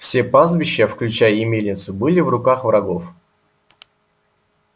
все пастбище включая и мельницу было в руках врагов